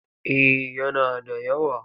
Eh yana da yawa.